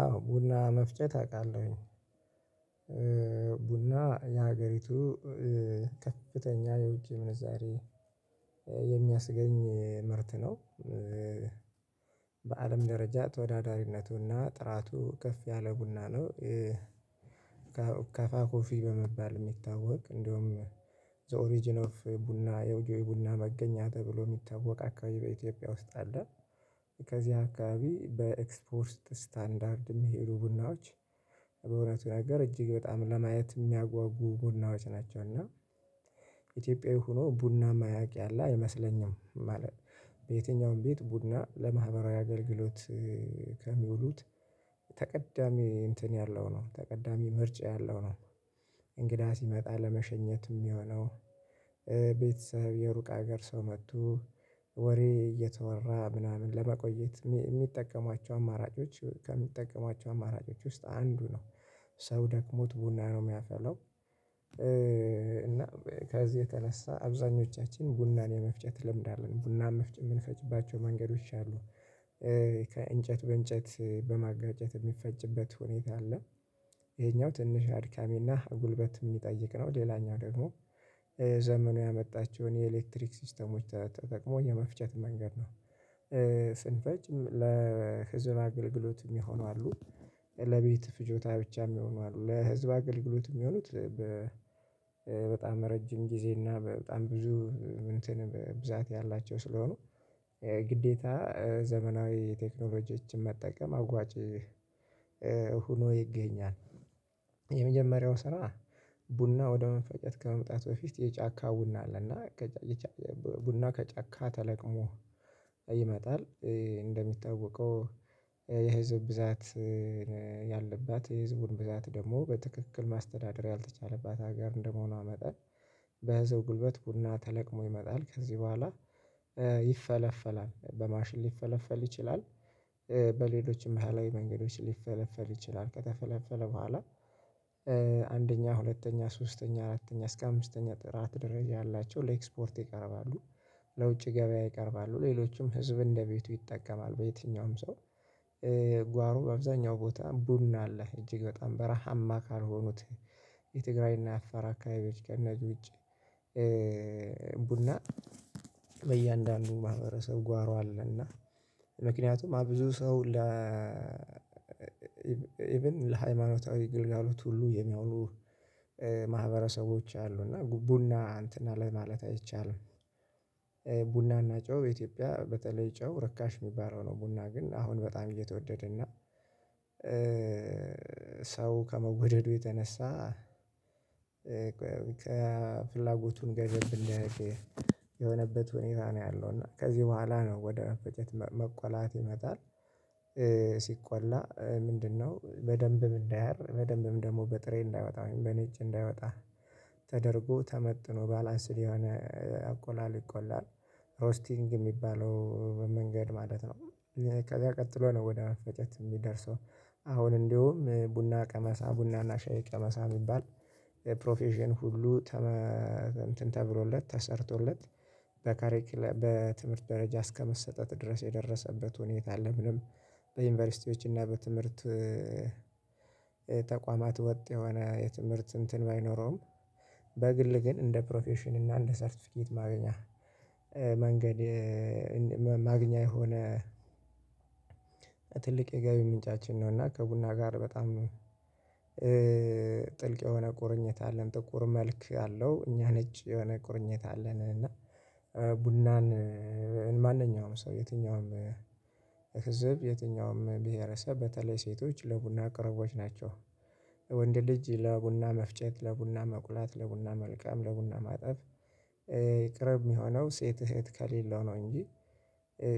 አዎ ቡና መፍጨት አውቃለሁኝ። ቡና የሀገሪቱ ከፍተኛ የውጭ ምንዛሬ የሚያስገኝ ምርት ነው። በአለም ደረጃ ተወዳዳሪነቱና ጥራቱ ከፍ ያለ ቡና ነው። ከፋ ኮፊ በመባል የሚታወቅ እንደውም ዘ ኦሪጅን ኦፍ ቡና የ ቡና መገኛ ተብሎ የሚታወቅ አካባቢ በኢትዮጵያ ውስጥ አለ። ከዚህ አካባቢ በኤክስፖርት ስታንዳርድ የሚሄዱ ቡናዎች በእውነቱ ነገር እጅግ በጣም ለማየት የሚያጓጉ ቡናዎች ናቸው እና ኢትዮጵያዊ ሆኖ ቡና ማያውቅ ያለ አይመስለኝም። ማለት በየትኛውም ቤት ቡና ለማህበራዊ አገልግሎት ከሚውሉት ተቀዳሚ እንትን ያለው ነው ተቀዳሚ ምርጫ ያለው ነው። እንግዳ ሲመጣ ለመሸኘት የሚሆነው፤ ቤተሰብ የሩቅ ሀገር ሰው መቱ ወሬ እየተወራ ምናምን ለመቆየት የሚጠቀማቸው አማራጮች ከሚጠቀሟቸው አማራጮች ውስጥ አንዱ ነው። ሰው ደክሞት ቡና ነው የሚያፈለው። እና ከዚህ የተነሳ አብዛኞቻችን ቡናን የመፍጨት ልምድ አለን ቡናን የምንፈጭባቸው መንገዶች አሉ። ከእንጨት በእንጨት በማጋጨት የሚፈጭበት ሁኔታ አለ። ይሄኛው ትንሽ አድካሚና ጉልበት የሚጠይቅ ነው። ሌላኛው ደግሞ ዘመኑ ያመጣቸውን የኤሌክትሪክ ሲስተሞች ተጠቅሞ የመፍጨት መንገድ ነው። ስንፈጭ ለህዝብ አገልግሎት የሚሆኑ አሉ ለቤት ፍጆታ ብቻ የሚሆኑ አሉ። ለህዝብ አገልግሎት የሚሆኑት በጣም ረጅም ጊዜ እና በጣም ብዙ እንትን ብዛት ያላቸው ስለሆኑ ግዴታ ዘመናዊ ቴክኖሎጂዎችን መጠቀም አዋጭ ሆኖ ይገኛል። የመጀመሪያው ስራ ቡና ወደ መፈጨት ከመምጣቱ በፊት የጫካ ቡና አለ እና ቡና ከጨካ ተለቅሞ ይመጣል፤ እንደሚታውቀው የህዝብ ብዛት ያለባት የህዝቡን ብዛት ደግሞ በትክክል ማስተዳደር ያልተቻለባት ሀገር እንደመሆኗ መጠን በህዝብ ጉልበት ቡና ተለቅሞ ይመጣል ከዚህ በኋላ ይፈለፈላል በማሽን ሊፈለፈል ይችላል። በሌሎችም ባህላዊ መንገዶች ሊፈለፈል ይችላል ከተፈለፈለ በኋላ አንደኛ፤ ሁለተኛ፤ ሶስተኛ፤ አራተኛ እስከ አምስተኛ ጥራት ደረጃ ያላቸው ለኤክስፖርት ይቀርባሉ። ለውጭ ገበያ ይቀርባሉ ሌሎችም ህዝብ እንደቤቱ ይጠቀማል በየትኛውም ሰው። ጓሮ በአብዛኛው ቦታ ቡና አለ እጅግ በጣም በረሃማ ካልሆኑት የትግራይና አፋር አካባቢዎች ከነዚህ ውጪ ቡና በእያንዳንዱ ማህበረሰብ ጓሮ አለና እና ምክንያቱም ብዙ ሰው ለ ኢቭን ለሃይማኖታዊ ግልጋሎት ሁሉ የሚያወሉ ማህበረሰቦች አሉ እና ቡና እንትን ለማለት አይቻልም። ቡናና ጨው ኢትዮጵያ በተለይ ጨው ርካሽ የሚባለው ነው ቡና ግን አሁን በጣም እየተወደደ እና ሰው ከመወደዱ የተነሳ ከፍላጎቱን ገደብ እንዲያደርግ የሆነበት ሁኔታ ነው ያለው እና ከዚህ በኋላ ነው ወደ ፍቅረት መቆላት ይመጣል። ሲቆላ ምንድነው በደንብ እንዳያር በደንብም ደግሞ በጥሬ እንዳይወጣ በነጭ እንዳይወጣ ተደርጎ ተመጥኖ ባላንስድ የሆነ አቆላል ይቆላል። ሮስቲንግ የሚባለው መንገድ ማለት ነው። ከዛ ቀጥሎ ነው ወደ መፈጨት የሚደርሰው። አሁን እንዲሁም ቡና ቀመሳ ቡና እና ሻይ ቀመሳ የሚባል ፕሮፌሽን ሁሉ እንትን ተብሎለት ተሰርቶለት፤ በካሬክለም በትምህርት ደረጃ እስከመሰጠት ድረስ የደረሰበት ሁኔታ አለ በዩኒቨርሲቲዎች እና በትምህርት ተቋማት ወጥ የሆነ የትምህርት እንትን ባይኖረውም በግል ግን እንደ ፕሮፌሽን እና እንደ ሰርቲፍኬት ማግኛ መንገድ ማግኛ የሆነ ትልቅ የገቢ ምንጫችን ነው እና ከቡና ጋር በጣም ጥልቅ የሆነ ቁርኝት አለን ጥቁር መልክ አለው። እኛ ነች የሆነ ቁርኝት አለን እና ቡናን ማንኛውም ሰው የትኛውም ህዝብ የትኛውም ብሄረሰብ በተለይ ሴቶች ለቡና ቅርቦች ናቸው። ወንድ ልጅ ለቡና መፍጨት፤ ለቡና መቁላት፤ ለቡና መልቀም፤ ለቡና ማጠብ ቅርብ የሚሆነው ሴት እህት ከሌለው ነው እንጂ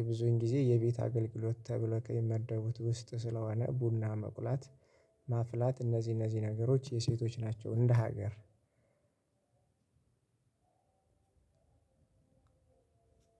ብዙን ጊዜ የቤት አገልግሎት ተብሎ ከሚመደቡት ውስጥ ስለሆነ ቡና መቁላት ማፍላት እነዚህ እነዚህ ነገሮች የሴቶች ናቸው እንደ ሀገር።